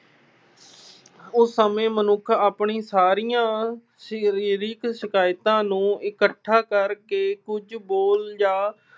ਉਸ ਸਮੇਂ ਮਨੁੱਖ ਆਪਣੀਆਂ ਸਾਰੀਆਂ ਸਰੀਰਕ ਸ਼ਿਕਾਇਤਾਂ ਨੂੰ ਇਕੱਠਾ ਕਰਕੇ ਕੁਝ ਬੋਲ ਜਾਂ